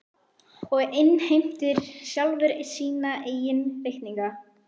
Og innheimtir sjálfur sína eigin reikninga.